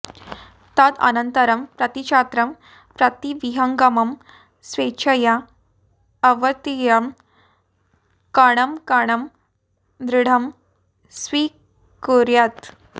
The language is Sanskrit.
तदनन्तरं प्रतिछात्रं प्रतिविहङ्गमं स्वेच्छया अवतीर्य कणं कणं दृढं स्वीकुर्यात्